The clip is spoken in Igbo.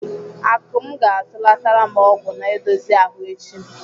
Akụm ga-atụlatara m ọgwụ na-edozi ahụ echi.